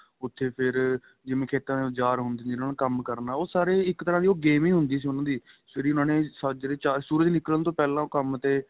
ਉਥੇ ਫ਼ਿਰ ਜਿਵੇਂ ਕਿ ਖੇਤਾਂ ਚ ਉੱਝਾਰ ਹੁੰਦੇ ਸੀ ਜਿਹਨਾ ਨਾਲ ਕੰਮ ਕਰਨਾ ਓ ਸਾਰੇ ਇੱਕ ਤਰਾ ਦੀ game ਹੀ ਹੁੰਦੀ ਸੀ ਉਹਨਾ ਦੀ ਸਵੇਰੇ ਹੀ ਉਹਨਾ ਨੇ ਸਾਜਰੇ ਸੂਰਜ ਨਿੱਕਲਣ ਤੋ ਪਹਿਲਾਂ ਹੀ ਉਹ ਕੰਮ